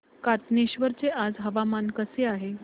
कातनेश्वर चे आज हवामान कसे आहे